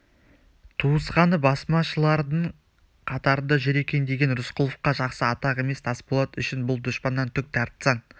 туысқаны басмашылардың қатарында жүр екен деген рысқұловқа жақсы атақ емес тасболат үшін бұл дұшпаннан түк тартсаң